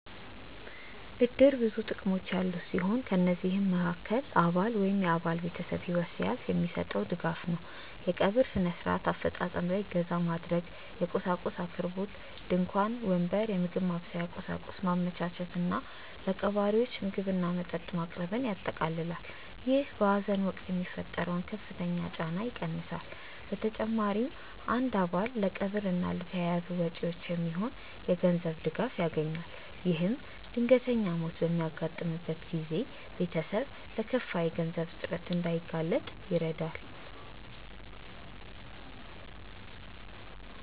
እድር ብዙ ጥቅሞች ያሉት ሲሆን ከነዚህም መሃከል አባል ወይም የአባል ቤተሰብ ህይወት ሲያልፍ የሚሰጠው ድጋፍ ነው። የቀብር ስነ-ስርዓት አፈፃፀም ላይ እገዛ ማድረግ፣ የቁሳቁስ አቅርቦት (ድንኳን፣ ወንበር፣ የምግብ ማብሰያ ቁሳቁስ) ማመቻቸት እና ለቀባሪዎች ምግብና መጠጥ ማቅረብን ያጠቃልላል። ይህ በሀዘን ወቅት የሚፈጠረውን ከፍተኛ ጫና ይቀንሳል። በተጨማሪም አንድ አባል ለቀብር እና ለተያያዙ ወጪዎች የሚሆን የገንዘብ ድጋፍ ያገኛል። ይህም ድንገተኛ ሞት በሚያጋጥምበት ጊዜ ቤተሰብ ለከፋ የገንዘብ እጥረት እንዳይጋለጥ ይረዳል።